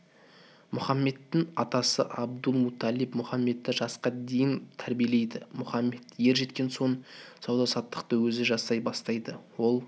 мүхаммедтің атасы абдул-муталиб мұхаммедті жасқа дейін тәрбиелейді мұхаммед ер жеткен соң сауда-саттықты өзі жасай бастайды ол